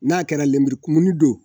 N'a kɛra lenburukumuni don